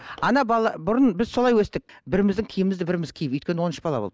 ана бұрын біз солай өстік біріміздің киімімізді біріміз киіп өйткені он үш бала болды